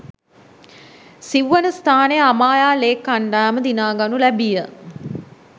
සිව්වන ස්ථානය අමායා ලේක් කණ්ඩායම දිනා ගනු ලැබීය.